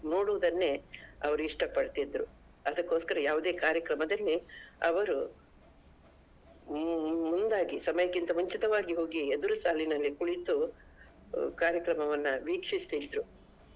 ನೋಡುದನ್ನೇ ಅವರು ಇಷ್ಟ ಪಡ್ತಾ ಇದ್ರು ಅದಕೋಸ್ಕರ ಯಾವ್ದೇ ಕಾರ್ಯಕ್ರಮದಲ್ಲಿ ಅವರು ಮುಂದಾಗಿ ಸಮಯಕ್ಕಿಂತ ಮುಂಚಿತವಾಗಿ ಹೋಗಿ ಎದುರು ಸಾಲಿನಲ್ಲಿ ಕುಳಿತು ಕಾರ್ಯಕ್ರಮವನ್ನ ವೀಕ್ಷಿಸ್ತಿದ್ರು.